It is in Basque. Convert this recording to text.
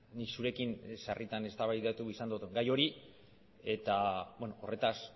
nik zurekin sarritan eztabaidatu izan dut gai hori eta horretaz